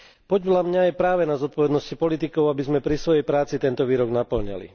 Podľa mňa je práve na zodpovednosti politikov, aby sme pri svojej práci tento výrok napĺňali.